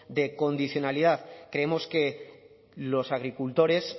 de condicionalidad creemos que los agricultores